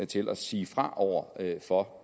til at sige fra over for